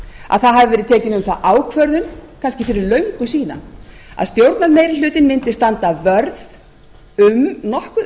að það hafi verið tekin um það ákvörðun kannski fyrir löngu síðan að stjórnarmeirihlutinn mundi standa vörð um nokkuð